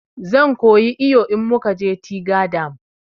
Zan koyi iyo in mukaje tiga dam